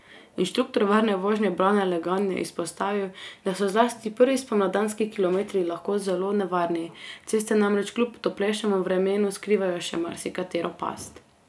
Inštruktor varne vožnje Brane Legan je izpostavil, da so zlasti prvi spomladanski kilometri lahko zelo nevarni, ceste namreč kljub toplejšemu vremenu skrivajo še marsikatero past.